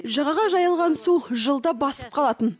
жағаға жайылған су жылда басып қалатын